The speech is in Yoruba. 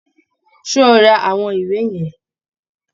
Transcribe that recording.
Ṣé o ra àwọn ìwé yẹn!